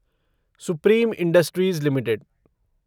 supreme Industries limited